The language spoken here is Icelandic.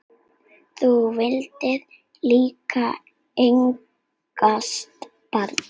Þú vildir líka eignast barn.